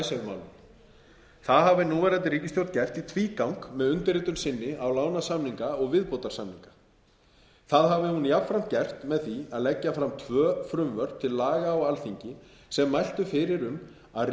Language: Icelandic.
það hafi núverandi ríkisstjórn gert í tvígang með undirritun sinni á lánasamninga og viðbótarlánasamninga það hafi hún jafnframt gert með því að leggja fram tvö frumvörp til laga á alþingi sem mæltu fyrir um að